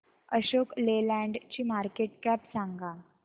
Ashok Leyland ची market cap सांगा